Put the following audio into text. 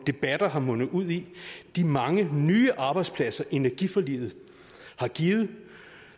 debatter har mundet ud i de mange nye arbejdspladser energiforliget har givet